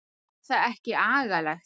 Var það ekki agalegt?